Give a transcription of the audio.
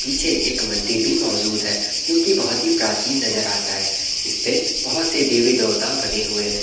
पीछे एक मंदिर भी मौजूद है जो कि बहुत ही प्राचीन नज़र आता है जिस पे बहुत से देवी-देवता बने हुए है ।